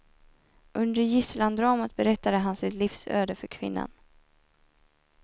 Under gisslandramat berättade han sitt livsöde för kvinnan.